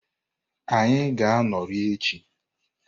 Anyị ga-anọrị echi.